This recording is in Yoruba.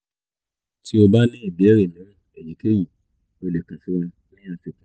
ti o ba ni ibeere miiran eyikeyi o le kan si wa ni afikun